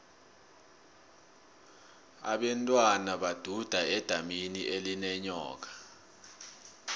abentwana baduda edamini elinenyoka